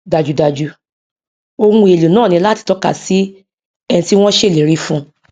dájúdájú ohun èèlò náà ní láti tọka sí ẹni tí wọn ṣèlérí fún